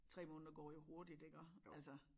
3 måneder går jo hurtigt iggå altså